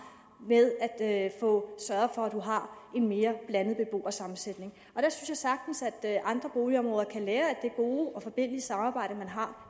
med at at få en mere blandet beboersammensætning jeg synes sagtens at andre boligområder kan lære af det gode og forbilledlige samarbejde man har